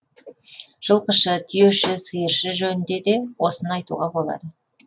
жылқышы түйеші сиыршы жөнінде де осыны айтуға болады